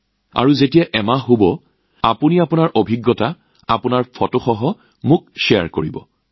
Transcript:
আৰু এমাহ শেষ হলে আপোনালোকৰ অভিজ্ঞতা আৰু ফটো মোৰ লগত শ্বেয়াৰ কৰক